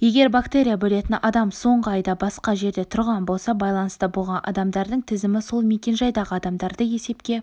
егер бактерия бөлетін адам соңғы айда басқа жерде тұрған болса байланыста болған адамдардың тізімі сол мекенжайдағы адамдарды есепке